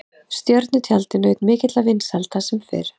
Stjörnutjaldið naut mikilla vinsælda sem fyrr.